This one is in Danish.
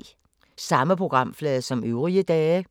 Samme programflade som øvrige dage